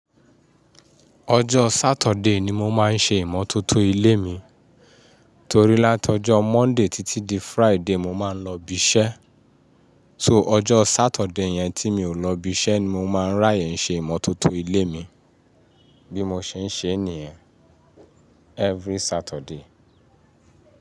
Ọjọ́ Saturday ni mo máa ń ṣe ìmọ́tótó ilé mi, torí látọjọ́ Monday títí di Friday mo máa ń lọ ibi iṣẹ́. So ọjọ́ Saturday yẹn tí mi ò lọ ibi iṣẹ́ ni mo máa ń ráyè ṣe ìmọ́tótó ilé mi bí mo ṣe ń ṣe nìyen every Saturday.